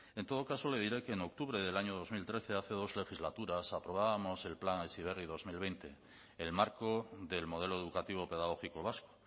en todo caso le diré que en octubre del año dos mil trece hace dos legislaturas aprobábamos el plan heziberri dos mil veinte el marco del modelo educativo pedagógico vasco